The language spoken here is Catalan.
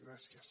gràcies